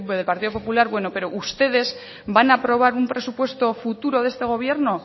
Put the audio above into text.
del partido popular bueno pero ustedes van a aprobar un presupuesto futuro de este gobierno